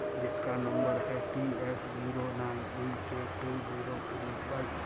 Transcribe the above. जिसका नंबर है T F zero nine E K two zero three five.